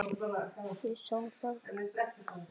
Ég sá það. kallaði Rikka.